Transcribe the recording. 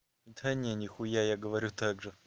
да не нихуя я говорю так же